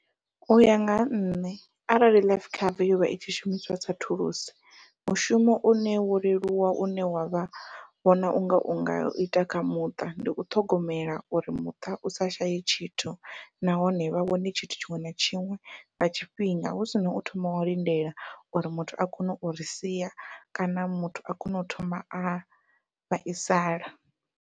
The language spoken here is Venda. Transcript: Uya nga ha nṋe arali life cover yovha i tshi shumiswa sa thulusi, mushumo une wo leluwa une wavha vhona unga unga ita kha muṱa ndi u ṱhogomela uri muṱa u sa shaye tshithu nahone vha wane tshithu tshiṅwe na tshiṅwe nga tshifhinga hu sina u thoma wa lindela uri muthu a kone uri sia kana muthu a kone u thoma a vhaisala.